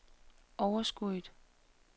overskuddet